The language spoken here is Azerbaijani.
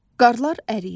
Qarlar əriyir.